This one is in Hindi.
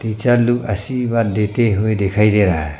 आशीर्वाद देते हुए दिखाई दे रहा है।